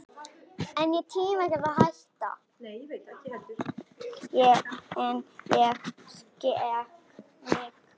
En ég skek mig.